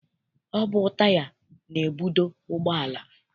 Ọ bụ taya na-ebudo ụgbọala.